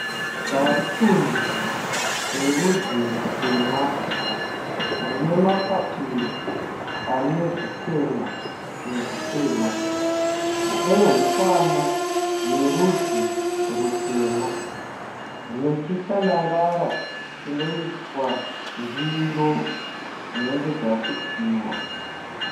Garikuni rerudzi rutema rine mapapiro ane zvichena nezvitema. Nehukwana yerudzi rutema. Nechitanangara chinoiswa ndiro dzinenge dzasukiwa.